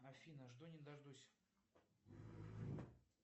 афина жду не дождусь